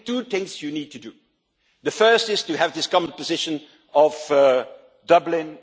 I think there are two things you need to do. The first is to have this common position of Dublin